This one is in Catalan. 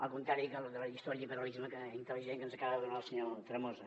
al contrari que la lliçó de liberalisme intel·ligent que ens acaba donar el senyor tremosa